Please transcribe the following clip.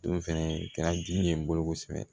Don fɛnɛ kɛra dimi ye n bolo kosɛbɛ